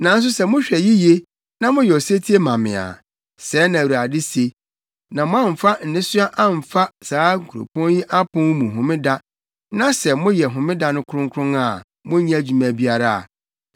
Nanso sɛ mohwɛ yiye na moyɛ osetie ma me a, sɛɛ na Awurade se, na moamfa nnesoa amfa saa kuropɔn yi apon mu Homeda, na sɛ moyɛ Homeda no kronkron a monnyɛ adwuma biara a,